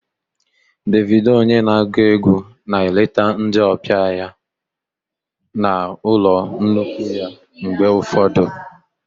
Davido onye na-agụ egwu na-eleta ndị ọbịa ya na ụlọ nnukwu ya mgbe ụfọdụ